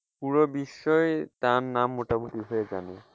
পুরো বিশ্বই তার নাম মোটামুটি যে জানে।